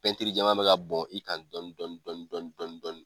Pɛntiri jɛɛlma bɛ ka bɔn i kan dɔni dɔni dɔni dɔni dɔni dɔni